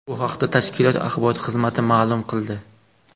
Bu haqda tashkilot axborot xizmati ma’lum qildi .